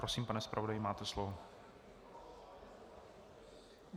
Prosím, pane zpravodaji, máte slovo.